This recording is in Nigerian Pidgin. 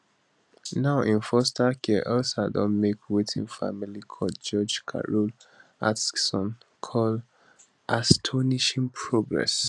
now in foster care elsa don make wetin family court judge carol atkinson call astonishing progress